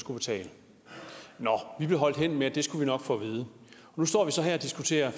skulle betale vi blev holdt hen med at det skulle vi nok få at vide og nu står vi så her og diskuterer